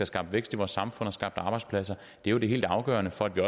skabt vækst i vores samfund og skabt arbejdspladser det er jo det helt afgørende for at vi